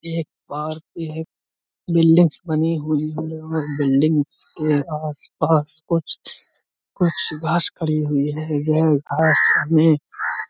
ये एक पार्क ये एक बिल्डिंग्स बनी हुई हैं और बिल्डिंग्स के आस-पास कुछ कुछ घास खड़ी हुई है। यह घास में --